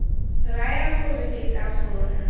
raya gore ke tla kgona